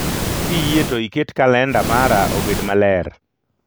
Kiyie to iket kalenda mara obed maler